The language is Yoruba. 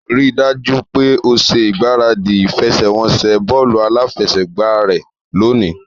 Rí i dájú pé o ṣe ìgbáradì ìfẹsẹ̀wọnsẹ̀ bọ́ọ̀lù aláfẹsẹ̀gbá rẹ lónìí